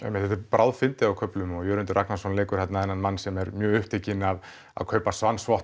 bráðfyndið á köflum og Jörundur Ragnarsson leikur þarna þennan mann sem er mjög upptekinn af að kaupa